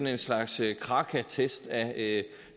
en slags kraka test af